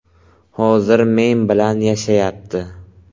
Hozir men bilan yashayapti.